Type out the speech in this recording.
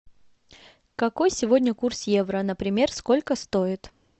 какой сегодня курс евро например сколько стоит